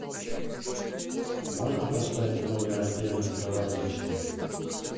можно поставить в номер отдельную кровать детскую